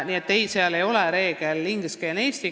Nii et siin ei ole ingliskeelse-eestikeelse reeglit.